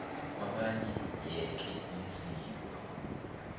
kwabanye yeke iziko